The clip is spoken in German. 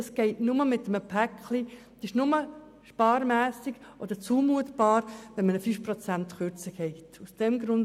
Das geht nur in einem Paket und ist nur bei einer 5-prozentigen Kürzung zumutbar.